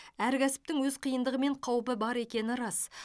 әр кәсіптің өз қиындығы мен қаупі бар екені рас